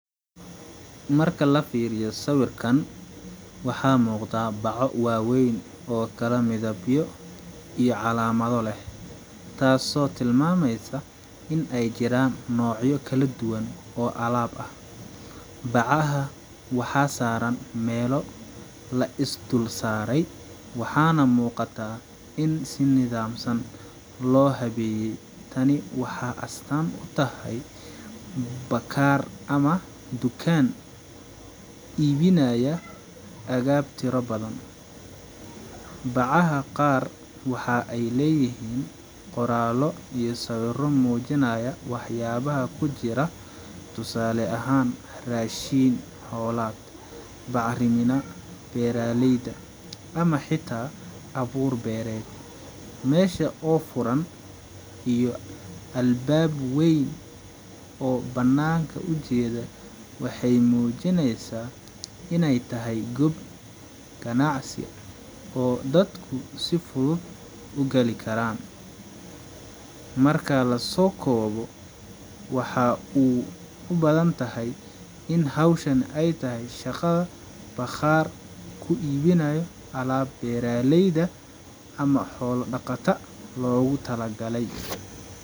Marka la fiiriyo sawirkan:Waxaa muuqda baco waaweyn oo kala midabyo iyo calaamado leh, taasoo tilmaamaysa in ay jiraan noocyo kala duwan oo alaab ah. Bacaha waxaa saaran meelo la is dul saaray, waxaana muuqataa in si nidaamsan loo habeeyey tani waxa astaan u tahay bakaar ama dukaan iibinaya agab tiro badan. Bacaha qaar waxa ay leeyihiin qoraallo iyo sawirro muujinaya waxyaabaha ku jira, tusaale ahaan: raashin xoolaad, bacrimina beeraleyda, ama xitaa abuur beereed. Meesha oo furan iyo albaab weyn oo bannaanka u jeeda waxay muujinaysaa in ay tahay gob ganacsi oo dadku si fudud u gali karaan. Marka la soo koobo:Waxa u badan tahay in hawshan ay tahay shaqada bakhaar ku iibinayo alaab beeraleyda ama xoolo dhaqata loogu talagalay,